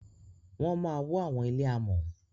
Wọ má wọ àwọn ilé amò.